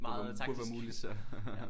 Burde være burde være muligt så